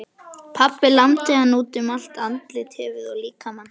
Pabbi lamdi hana út um allt, andlitið, höfuðið og líkamann.